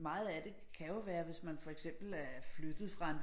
Meget af det kan jo være hvis man for eksempel er flyttet fra en